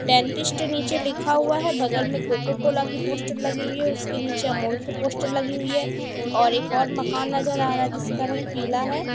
Dentist नीचे लिखा हुआ है बगल में कोकोकोला की पोस्टर लगी हुई है उसके नीचे अमूल की पोस्टर लगी हुई है और एक और मकान नजर आ रहा है जिसका रंग पीला है।